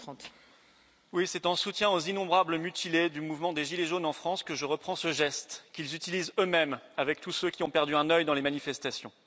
Madame la Présidente, c'est en soutien aux innombrables mutilés du mouvement des gilets jaunes en France que je reprends ce geste qu'ils utilisent eux mêmes avec tous ceux qui ont perdu un œil dans les manifestations.